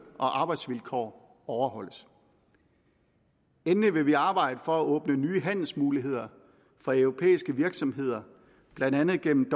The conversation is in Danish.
og arbejdsvilkår overholdes endelig vil vi arbejde for at åbne nye handelsmuligheder for europæiske virksomheder blandt andet gennem